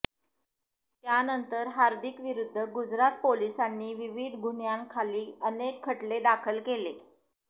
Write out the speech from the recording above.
त्यानंतर हार्दिक विरूद्ध गुजरात पोलिसांनी विविध गुन्ह्यांखाली अनेक खटले दाखल केले